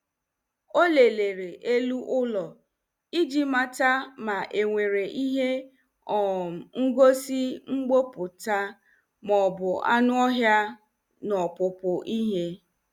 O lelere elu ụlọ iji mata ma enwere ihe um ngosi mgbuputa maọbụ anụ ọhịa n'opupu ihe